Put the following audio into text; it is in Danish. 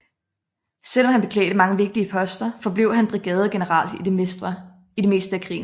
Selv om han beklædte mange vigtige poster forblev han brigadegeneral i det meste af krigen